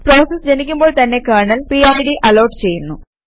process ജനിക്കുമ്പോൾ തന്നെ kernel PID allot ചെയ്യുന്നു